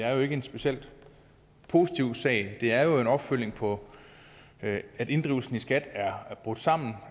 er jo ikke en specielt positiv sag det er jo en opfølgning på at inddrivelsen i skat er brudt sammen